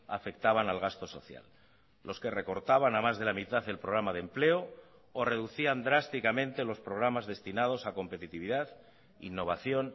afectaban al gasto social los que recortaban a más de la mitad el programa de empleo o reducían drásticamente los programas destinados a competitividad innovación